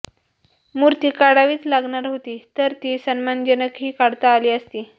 मूर्ती काढावीच लागणार होती तर ती सन्मानजनकही काढता आली असती